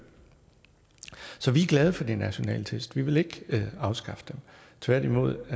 så vi er glade for de nationale test vi vil ikke afskaffe dem tværtimod